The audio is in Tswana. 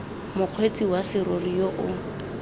mokgweetsi wa serori yo o